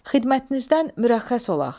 Xidmətinizdən mürəxxəs olaq.